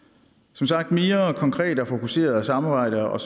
som sagt ville mere konkret og fokuseret samarbejde og